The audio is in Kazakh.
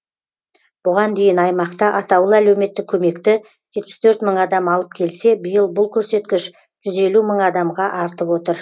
бұған дейін аймақта атаулы әлеуметтік көмекті жетпіс төрт мың адам алып келсе биыл бұл көрсеткіш жүз елу мың адамға артып отыр